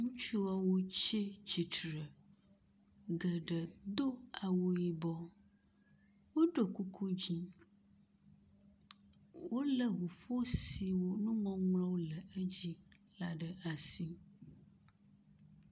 Ŋutsuwo tsi tsitre. Geɖe do awu yibɔ woɖo kuku dzi. Wo le ŋuƒo si me nuŋɔŋlɔwo le edzi la ɖe asi.